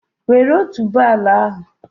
Wèré otuboala ahụ